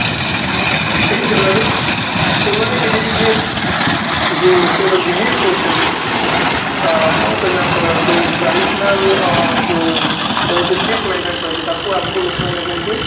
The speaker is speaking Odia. ସେଇ ଜାଗାରେ ଏମାନେ କିଛି କିଛି ଯୋଉ ଲୋକ ଗୁଡା Believe କରୁଛନ୍ତି ଅ ଆଉ କଣ କହିବି ୟାଙ୍କର ଯୋଉ traditional ଅ ଯୋଉ ସବୁଠୁ cheap mentality ରହିଛି ତାକୁ ଆଗକୁ ଲୋକମାନେ କେମିତି